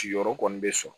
Ciyɔrɔ kɔni bɛ sɔn